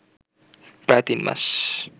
প্রায় তিন মাস